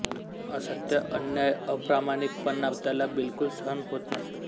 असत्य अन्याय अप्रामाणिकपणा त्याला बिलकूल सहन होत नसे